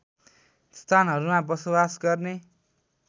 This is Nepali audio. स्थानहरूमा बसोबास गर्ने